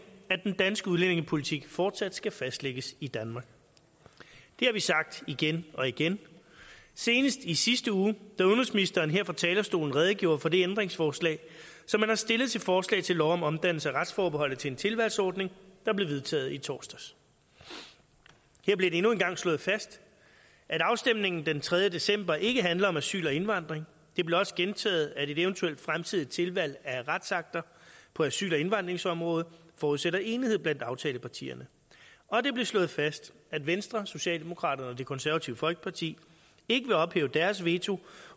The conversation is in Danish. at den danske udlændingepolitik fortsat skal fastlægges i danmark det har vi sagt igen og igen senest i sidste uge da udenrigsministeren her fra talerstolen redegjorde for det ændringsforslag som han har stillet til forslag til lov om omdannelse af retsforbeholdet til en tilvalgsordning der blev vedtaget i torsdags her blev det endnu en gang slået fast at afstemningen den tredje december ikke handler om asyl og indvandring det blev også gentaget at et eventuelt fremtidigt tilvalg af retsakter på asyl og indvandringsområdet forudsætter enighed blandt aftalepartierne og det blev slået fast at venstre socialdemokraterne og det konservative folkeparti ikke vil ophæve deres veto